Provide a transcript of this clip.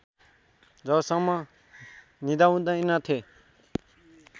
जबसम्म निदाउँदैनथेँ